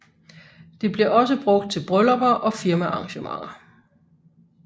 Det bliver også brugt til bryllupper og firmaarrangementer